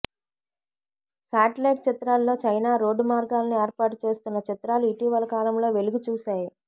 satellite చిత్రాల్లో China road మార్గాలను ఏర్పాటు చేస్తున్న చిత్రాలు ఇటీవల కాలంలో వెలుగు చూశాయి